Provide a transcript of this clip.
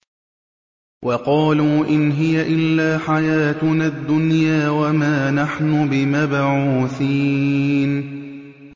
وَقَالُوا إِنْ هِيَ إِلَّا حَيَاتُنَا الدُّنْيَا وَمَا نَحْنُ بِمَبْعُوثِينَ